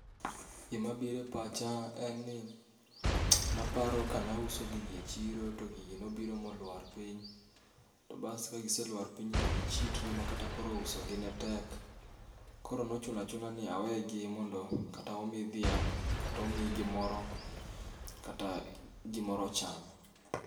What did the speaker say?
Gima biro e pacha en ni naparo kane auso gigi e chiro, to gigi nobiro molwar piny to bas ka gise lwar piny to gichidre makata koro usogi ne tek. Koro ne ochuno achuna ni awe gi mondo kata omi dhiang' kata omi gimoro kata gimoro ocham.